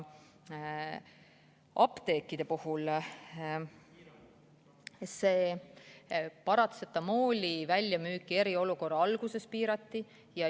Apteekide kohta: paratsetamooli müüki eriolukorra alguses piirati.